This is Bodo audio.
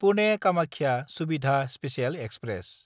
पुने–कामाख्या सुबिधा स्पेसियेल एक्सप्रेस